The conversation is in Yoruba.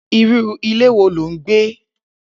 Irù ìlé wó ló n gbé